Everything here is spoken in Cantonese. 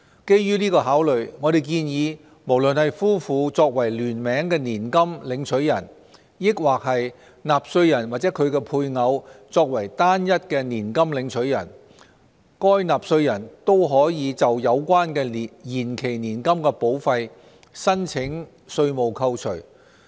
基於這個考慮，我們建議無論是夫婦作為聯名年金領取人，抑或是納稅人或其配偶作為單一年金領取人，該納稅人均可就有關的延期年金保費申請稅務扣除。